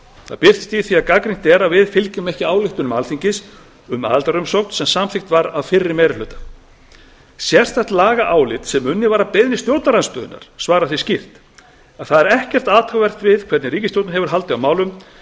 það birtist í því að gagnrýnt er að við fylgjum ekki ályktunum alþingis um aðildarumsókn sem samþykkt var af fyrri meiri hluta sérstakt lagaálit sem unnið var að beiðni stjórnarandstöðunnar svarar því skýrt það er ekkert athugavert við hvernig ríkisstjórnin hefur haldið á